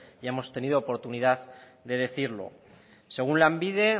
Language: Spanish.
ya hemos tenido oportunidad de decirlo según lanbide